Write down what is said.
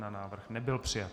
Návrh nebyl přijat.